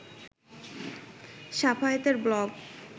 শাফায়েতের blog